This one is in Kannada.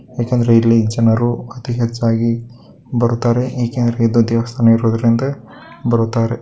ಏಕೆ ಅಂದ್ರೆ ಇಲ್ಲಿ ಅತಿಹೆಚ್ಚಾಗಿ ಬರುತಾರೆ ಏಕೆ ಅಂದ್ರೆ ಇದು ದೇವಸ್ಥಾನ ಇರೋದ್ರಿಂದ ಬರುತಾರೆ.